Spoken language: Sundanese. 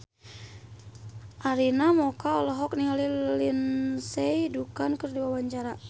Arina Mocca olohok ningali Lindsay Ducan keur diwawancara